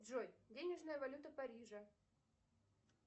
джой денежная валюта парижа